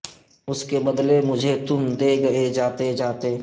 اس کے بدلے مجھے تم دے گئے جاتے جاتے